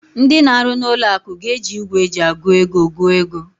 Ndị na-arụ n'ụlọ akụ ga-eji igwe eji agụ ego gụọ ego.